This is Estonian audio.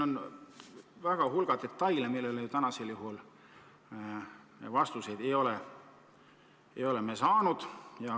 On suur hulk detaile, millele me täna vastuseid ei ole saanud.